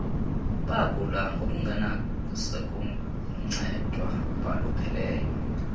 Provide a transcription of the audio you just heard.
bagula ngokungasenakuncedwa abalupheleyo